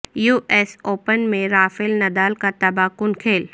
you S open میں Rafael Nadal کا تباہ کن کھیل